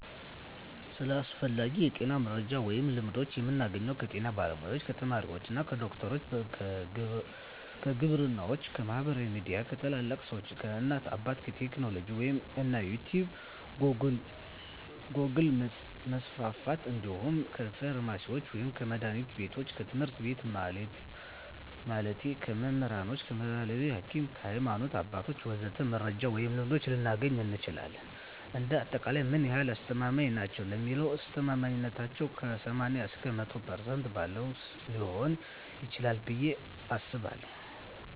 ስለ አስፈላጊ የጤና መረጃ ወይም ልምዶች የምናገኘው ከጤና ባለሙያ፣ ከተመራማሪዎች፣ ከዶክተሮች፣ ከግብርናዎች፣ ከማህበራዊ ሚዲያ፣ ከታላላቅ ሰዎች፣ ከእናት አባት፣ ከቴክኖሎጂ ወይም እንደ ዩቲቭ ጎግል% መስፍፍት እንዲሁም ከፍርማሲስቶች ወይም ከመድሀኒት ቢቶች፣ ከትምህርት ቤት ማለቴ ከመምህራኖች፣ ከባህላዊ ሀኪሞች፣ ከሀይማኖት አባቶች ወዘተ..... መረጃ ወይም ልምዶች ልናገኝ እንችላለን። እንደ አጠቃላይ ምን ያህል አስተማማኝ ናቸው ለሚለው አስተማማኝነታው ከ80% እስከ 100% ባለው ሊሆን ይችላል ብየ አስባለሁ።